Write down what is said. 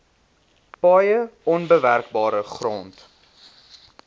paaie onbewerkbare grond